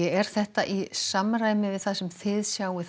er þetta í samræmi við það sem þið sjáið